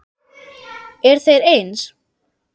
Eru þeir eins?